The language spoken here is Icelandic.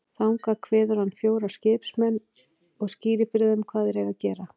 Þangað kveður hann fjóra skipsmenn og skýrir fyrir þeim hvað þeir eigi að gera.